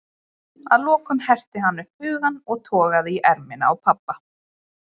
Að lokum herti hann upp hugann og togaði í ermina á pabba.